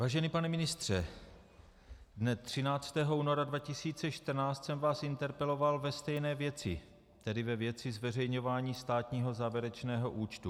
Vážený pane ministře, dne 13. února 2014 jsem vás interpeloval ve stejné věci, tedy ve věci zveřejňování státního závěrečného účtu.